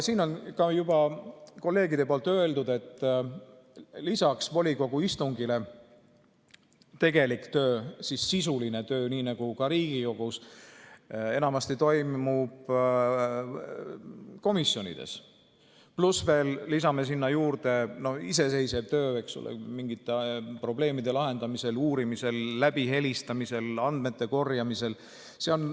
Siin on ka juba kolleegide poolt öeldud, et lisaks volikogu istungile toimub tegelik töö, sisuline töö, nii nagu ka Riigikogus, enamasti komisjonides, pluss lisame sinna juurde iseseisva töö, eks ole, mingite probleemide lahendamisel, uurimisel, läbihelistamisel, andmete korjamisel.